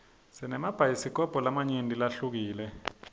sinemabhayisikobho lamanyenti lahlukile